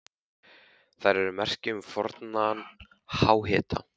Þær eru merki um fornan háhita.